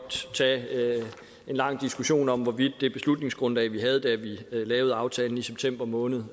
tage en lang diskussion om hvorvidt det beslutningsgrundlag vi havde da vi lavede aftalen i september måned